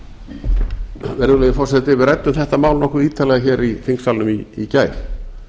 virðulegi forseti við ræddum þetta mál nokkuð ítarlega hér í þingsalnum í gær